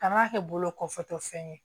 Kan'a kɛ bolo kɔfɛtɔ fɛn ye